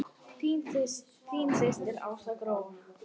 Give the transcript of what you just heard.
Þín systir Ása Gróa.